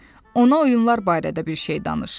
Ona oyunlar barədə bir şey danış.